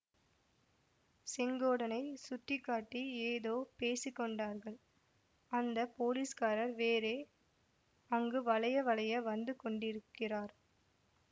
செங்கோடனைச் சுட்டி காட்டி ஏதோ பேசி கொண்டார்கள் அந்த போலீஸ்காரர் வேறே அங்கு வளைய வளைய வந்து கொண்டிருக்கிறார்